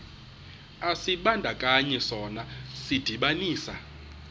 isibandakanyi sona sidibanisa